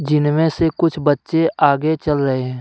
जिनमें से कुछ बच्चे आगे चल रहे है।